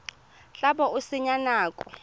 tla bo o senya nako